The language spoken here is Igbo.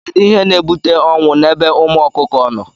Kedụ ihe na- ebute ọnwụ na ebe ụmụ ọkụkọ nọ?